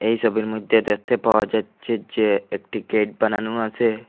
এই ছবির মইধ্যে দেখতে পাওয়া যাচ্ছে যে একটি গেট বানানো আছে।